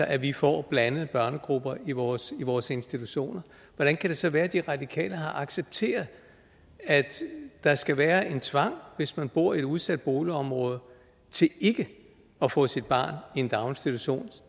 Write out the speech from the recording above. at vi får blandede børnegrupper i vores vores institutioner hvordan kan det så være at de radikale har accepteret at der skal være en tvang hvis man bor i et udsat boligområde til ikke at få sit barn i en daginstitution